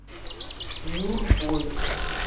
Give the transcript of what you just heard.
нюрбой